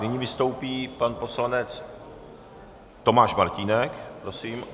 Nyní vystoupí pan poslanec Tomáš Martínek, prosím.